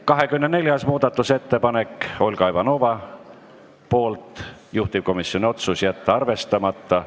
24. muudatusettepanek on Olga Ivanovalt, juhtivkomisjoni otsus: jätta arvestamata.